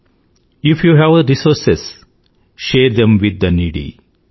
if you have resources share them with the needy